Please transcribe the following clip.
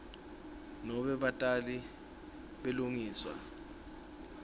nobe batali belusiso